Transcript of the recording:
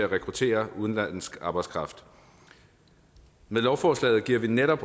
rekruttere udenlandsk arbejdskraft med lovforslaget giver vi netop